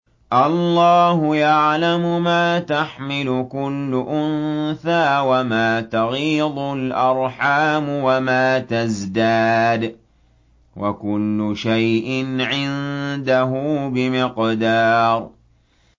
اللَّهُ يَعْلَمُ مَا تَحْمِلُ كُلُّ أُنثَىٰ وَمَا تَغِيضُ الْأَرْحَامُ وَمَا تَزْدَادُ ۖ وَكُلُّ شَيْءٍ عِندَهُ بِمِقْدَارٍ